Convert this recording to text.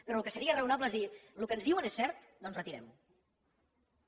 però el que seria raonable és dir el que ens diuen és cert doncs retirem ho